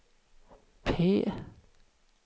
P